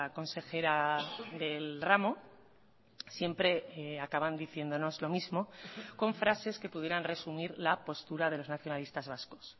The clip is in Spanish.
consejera del ramo siempre acaban diciéndonos lo mismo con frases que pudieran resumir la postura de los nacionalistas vascos